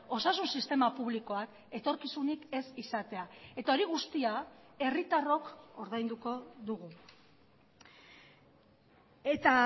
osasun sistema publikoak etorkizunik ez izatea eta hori guztia herritarrok ordainduko dugu eta